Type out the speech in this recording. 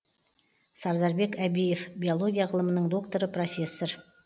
сардарбек әбиев биолия ғылымның докторы профессор